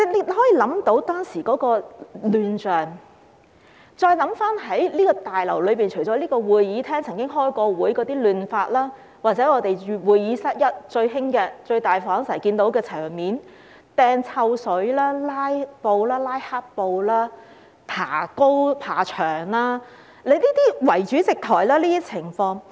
大家可以想象當時的亂象，在這個大樓內，除了會議廳開會時出現的混亂，還有會議室 1， 即最大的會議室，最常看到的場面包括擲臭水、拉黑布、爬高、圍主席台等情況。